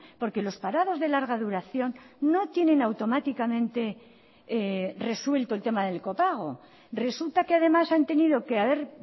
porque los parados de larga duración no tienen automáticamente resuelto el tema del copago resulta que además han tenido que haber